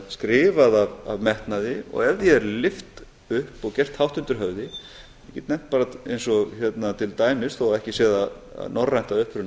skrifað af metnaði og ef því er lyft upp og gert hátt undir höfði ég get nefnt bara eins og til dæmis þó að ekki sé það norrænt að uppruna